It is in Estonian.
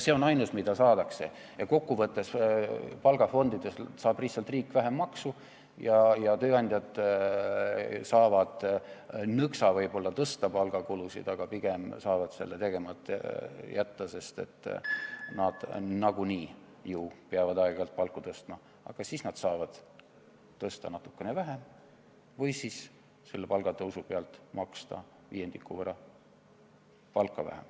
See on ainus, mida saadakse, ja kokkuvõttes saab riik palgafondidest lihtsalt vähem maksu ja tööandjad saavad nõksa võib-olla tõsta palgakulusid, aga pigem saavad selle tegemata jätta, sest nad nagunii ju peavad aeg-ajalt palku tõstma, aga siis nad saavad tõsta natukene vähem või saavad selle palgatõusu pealt maksta viiendiku võrra vähem palka.